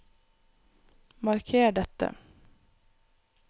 Marker dette